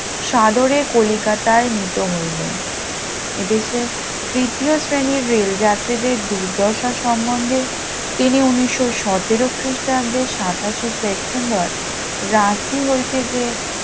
সাদরে কলিকাতায় নিত হইলেন এদেশে তৃতীয় শ্রেণীর রেলযাত্রীদের দুর্দশা সম্বন্ধে তিনি উনিশশো সতেরো খ্রিস্টাব্দে সাতাশে সেপ্টেম্বর রাঁচি হইতে যে